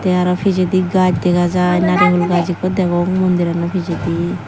te arw pijedi gaj dega jai nariul gaj ikko degong mondirano pijedi.